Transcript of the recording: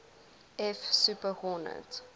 f super hornet